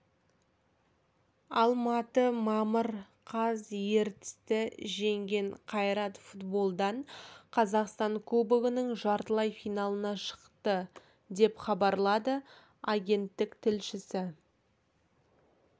алматы мамыр қаз ертісті жеңген қайрат футболдан қазақстан кубогының жартылай финалына шықты деп хабарлады агенттік тілшісі